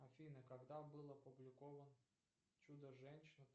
афина когда был опубликован чудо женщина